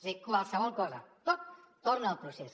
és a dir qualsevol cosa tot torna al procés